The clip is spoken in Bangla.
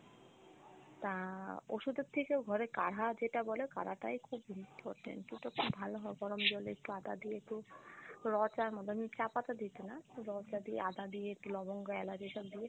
তা ওষুধের থেকেও ঘরে কাড়হা যেটা বলে কাড়াটাই খুব ভালো হয় গরম জলে একটু আদা দিয়ে একটু রং চার মত চাপাতা দিতি না রং চা দিয়ে আদা দিয়ে একটু লবঙ্গ এলাচ এসব দিয়ে